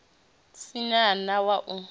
si na na wa u